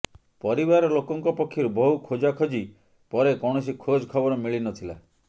ପରିବାର ଲୋକଙ୍କ ପକ୍ଷରୁ ବହୁ ଖୋଜଖୋଜି ପରେ କୌଣସି ଖୋଜ ଖବର ମିଳିନଥିଲା